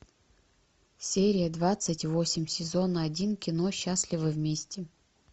серия двадцать восемь сезон один кино счастливы вместе